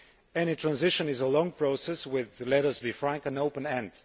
Any transition is a long process with, let us be frank, an open end.